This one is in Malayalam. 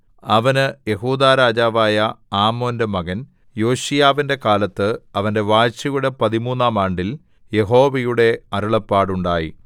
അവന് യെഹൂദാ രാജാവായ ആമോന്റെ മകൻ യോശീയാവിന്റെ കാലത്ത് അവന്റെ വാഴ്ചയുടെ പതിമൂന്നാം ആണ്ടിൽ യഹോവയുടെ അരുളപ്പാടുണ്ടായി